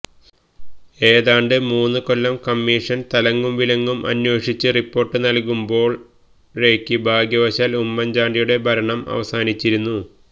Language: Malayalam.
ഏതാണ്ട് മൂന്നുകൊല്ലം കമ്മീഷന് തലങ്ങും വിലങ്ങും അന്വേഷിച്ച് റിപ്പോര്ട്ട് നല്കുമ്പോഴേക്ക് ഭാഗ്യവശാല് ഉമ്മന്ചാണ്ടിയുടെ ഭരണം അവസാനിച്ചിരുന്നു